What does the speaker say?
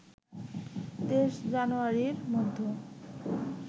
২৩ জানুয়ারির মধ্যে